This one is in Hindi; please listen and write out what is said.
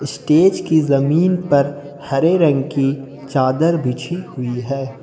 स्टेज की जमीन पर हरे रंग की चादर बिछी हुई है।